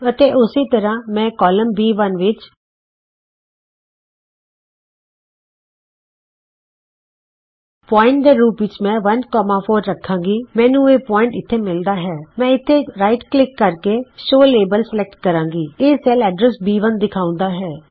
ਅਤੇ ਉਸੇ ਤਰ੍ਹਾਂ ਮੈਂ ਕਾਲਮ ਬੀ1 ਵਿਚ ਬਿੰਦੂ ਦੇ ਰੂਪ ਵਿਚ ਮੈਂ 14 ਰਖਾਂਗੀ ਮੈਨੂੰ ਇਹ ਬਿੰਦੂ ਇਥੇ ਮਿਲਦਾ ਹੈ ਮੈਂ ਇਥੇ ਸੱਜਾ ਕਲਿਕ ਕਰਕੇ ਸ਼ੋਅ ਲੇਬਲ ਸਲੈਕਟ ਕਰਾਂਗੀ ਇਹ ਸੈਲ ਐਡਰਸ ਬੀ1 ਦਿਖਾਉਂਦਾ ਹੈ